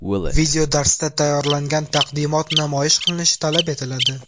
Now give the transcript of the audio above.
Videodarsda tayyorlangan taqdimot namoyish qilinishi talab etiladi.